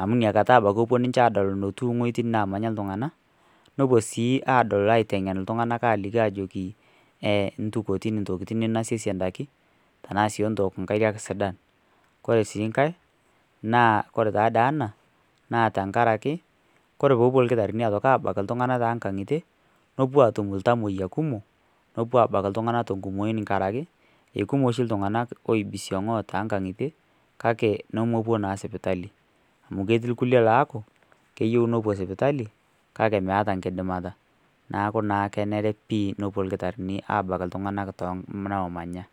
amu inakata ebuo ninche aadol eneemanya nepuo sii aadol. aiteng'en iltung'anak aajoki endukuoitin intokitin ninosiese indaiki tenaa sii entook inkariak sidan ore sii inkariak naa koree taadoi ena naa tenkaraki koree pee epuo irkitarini aabak iltung'anak toonkang'i tie nepuo aatum iltamoyia kumok nepuo aabak iltung'anak tenkumoi tenkaraki mee oshi iltung'anak kake nemepuo naa sipitali amu ketii irkulie laaku keyieu nepuo sipitali kake meeta enkidimata neeku naa kenare nepuo iltung'anak aabak iltung'anak tooneemanya.